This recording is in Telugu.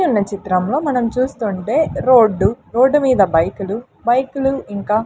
ఇక్కడున్న చిత్రంలో మనం చూస్తుంటే రోడ్డు రోడ్డు మీద బైకులు బైకులు ఇంకా--